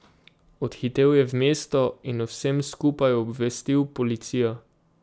Odhitel je v mesto in o vsem skupaj obvestil policijo.